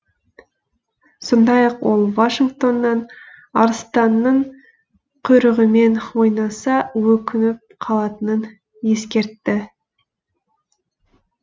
сондай ақ ол вашингтоннан арыстанның құйрығымен ойнаса өкініп қалатынын ескертті